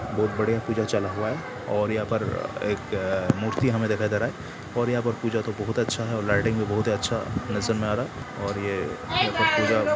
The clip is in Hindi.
बहुत बड़ी पूजा चालू हुआ है। और यहा पर एक मूर्ति हमें दिखाई दे रहा है और यहा पे पूजा का बहुत अच्छा लाइटिंग भी बहुत अच्छा नजर आ रहा है और ये मतलब पूजा--